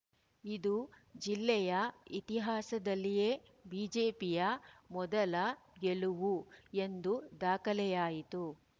ಇದು ಜಿಲ್ಲೆಯ ಇತಿಹಾಸದಲ್ಲಿಯೇ ಬಿಜೆಪಿಯ ಮೊದಲ ಗೆಲುವು ಎಂದು ದಾಖಲೆಯಾಯಿತು